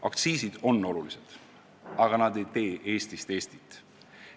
Aktsiisid on olulised, aga nad ei tee Eestist Eestit.